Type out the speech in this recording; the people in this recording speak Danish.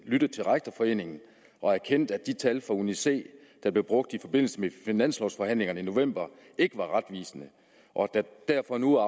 lyttet til rektorforeningen og erkendt at de tal fra uni c der blev brugt i forbindelse med finanslovforhandlingerne i november ikke var retvisende og at der derfor nu